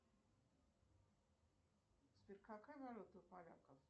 сбер какая валюта у поляков